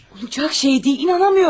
Olacaq şey deyil, inana bilmirəm.